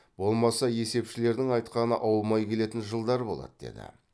болмаса есепшілердің айтқаны аумай келетін жылдар болады деді